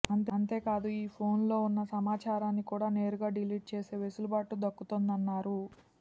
అంతేకాదు ఈ ఫోన్లలో ఉన్న సమాచారాన్ని కూడ నేరుగా డిలీట్ చేసే వెసులుబాటు దక్కుతోందన్నారు